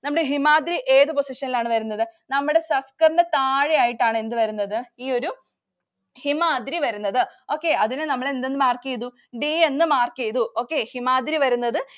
നമ്മുടെ ഹിമാദ്ദ്രി ഏതു position ഇലാണ് വരുന്നത്? നമ്മുടെ സസ്കറിന് താഴെയായിട്ടാണ് എന്ത്‌ വരുന്നത്? ഈ ഒരു ഹിമാദ്ദ്രി വരുന്നത്. okay അതിനെ നമ്മള് എന്തെന്ന് mark ചെയ്തു. D എന്ന് mark ചെയ്തു. okay ഹിമാദ്രി വരുന്നത്